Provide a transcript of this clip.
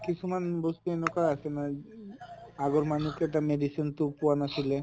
কিছুমান বস্তু এনকা আছে নহয় আগৰ মানে কেটা medicine তʼ পোৱা নাছিলে